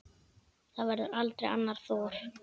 Það verður aldrei annar Thor.